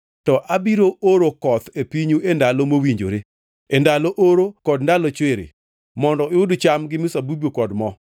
to abiro oro koth e pinyu e ndalo mowinjore e ndalo oro kod ndalo chwiri, mondo uyud cham, gi mzabibu kod mo.